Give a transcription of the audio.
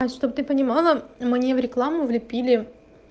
а чтобы ты понимала мне в рекламу влепили